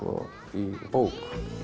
í bók